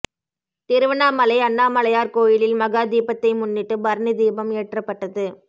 திருவண்ணாமலை அண்ணாமலையார் கோயிலில் மகா தீபத்தை முன்னிட்டு பரணி தீபம் ஏற்றப்பட்டது